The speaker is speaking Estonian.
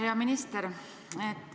Hea minister!